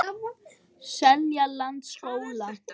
Seljalandsskóla